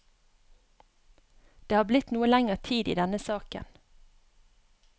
Det har blitt noe lenger tid i denne saken.